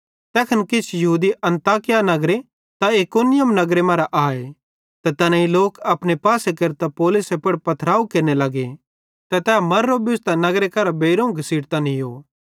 तैखन किछ यहूदी अन्ताकिया नगरे ते इकुनियुम नगरे मरां आए ते तैनेईं लोक अपने पासे केरतां पौलुसे पुड़ पथराव केरने लगे ते तै मुओरो बुझ़तां नगर करां बेइरोवं घसीटतां नीयो